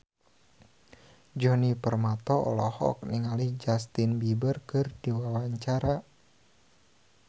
Djoni Permato olohok ningali Justin Beiber keur diwawancara